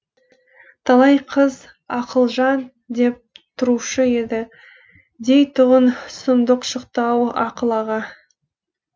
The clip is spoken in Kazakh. талай қыз ақылжан деп тұрушы еді дейтұғын сұмдық шықты ау ақыл аға